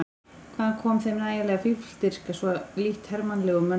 Hvaðan kom þeim nægjanleg fífldirfska, svo lítt hermannlegum mönnum?